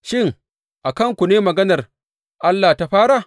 Shin, a kanku ne maganar Allah ta fara?